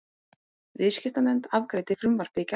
Viðskiptanefnd afgreiddi frumvarpið í gærdag